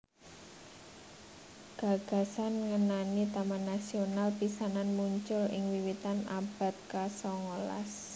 Gagasan ngenani taman nasional pisanan muncul ing wiwitan abad ka sangalas